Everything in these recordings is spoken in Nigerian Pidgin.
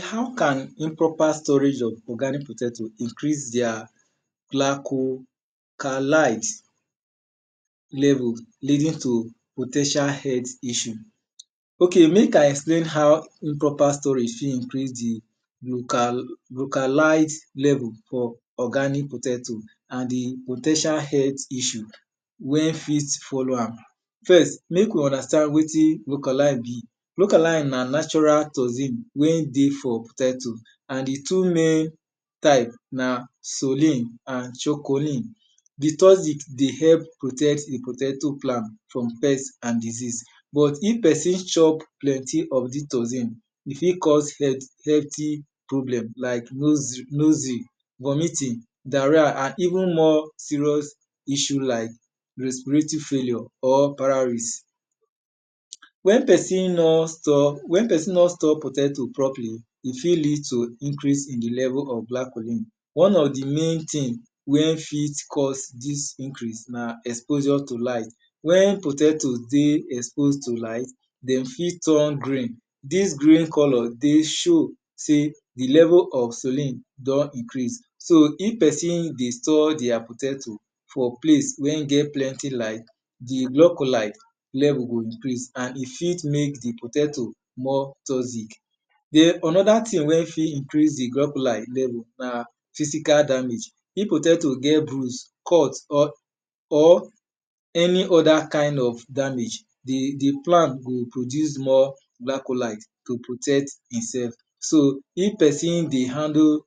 How can improper storage of organic potato increase their lanchocalize level leading to po ten tial health issue? Ok mek I explain how improper storage fit increase di localize level for organic potato and di po ten tial health issue wen fit follow am. First mek we understand wetin be localin, localin na natural toxin wen dey for potato and di two main type na sullen and chukolin. Di toxin dey help protect di potato plant from pest and disease. But if pesin chop plenty of dis toxin, e fit cause health problem like vomiting diarrhea and even more serious issue like respiratory failure. Wen pesin nor store potato properly, e fit lead to increase in di level of glacholin. One of di main thing wen fit cause dis issue na exposure to light. Wen potatoe don dey expose to light, de fit turn green. Dis green colour dey show sey di level of sullen don increase. So if pesin dey store their potato for place wen get plenty light, di glocholide level go increase and e fit mek di potato more toxic. Den onoda thing wey fit wen fit incrase di grocholide level na physical damage, pipu ten d to get bruise cut, or any other kind of damage, di plant go produce more glicholid to protect itself. So if esin dey handle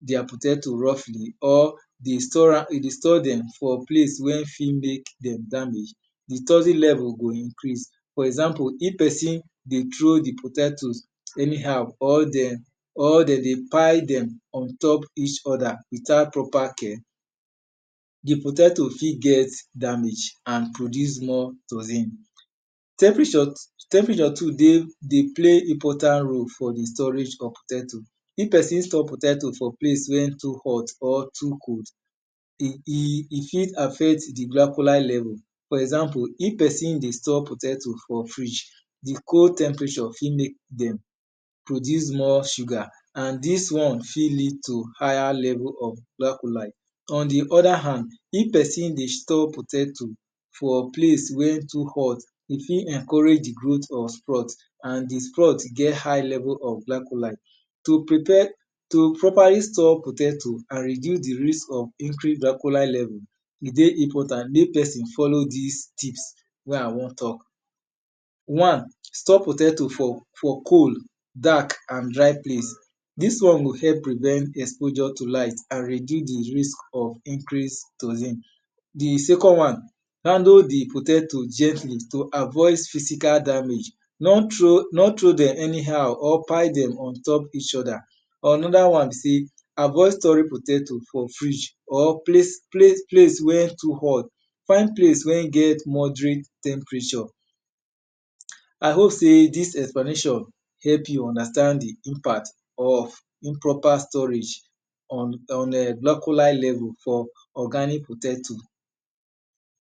their potato roughly or dey store dem for place wen fit mek dem damage, di toxin level go increase for eample if pesin dey throw di potatos anyhow or den dey pile dem on top each other without proper care, di potato ffit get damage and produce more toxin. Temperature too dey place important role for di storage of potato. If pesin store potato for place wen too hot or too cold, e fit affect di glicholide level. For example if pesin dey store potato for fridge, di cold temperature fit mek dem produce more sugar and dis one fit lead to higher level of glicholide. On di other hand, if pesin dey store potato rfor place wen too hot, e fit encourage di growth or sprout and di sprout get hight level of glicholide. To prepare to properly store potato and reduce di risk of increase glicholide leel, e dey important mek pesin follow dis tips wey I won talk. One, store potato for cold, dark and dry place, dis one go help prevent exposure to light and reduce di risk of increase toxin. Di second one, handle di potato gently to avoid physical damage, no throw dem anyhow or pile dem on opt eachother. Onoda wanbe sey, avoid storing potato for frdge or palce wen too hot, find plce wen get moderate temperature. I hope sey dis explanation help you understand di impact of improper storage on glicholid level for organic potato.